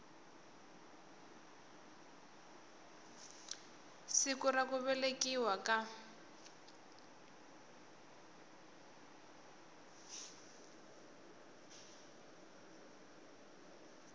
siku ra ku velekiwa ka